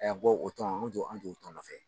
A bɔ o tɔn an t'o an t'o tɔn nɔfɛ.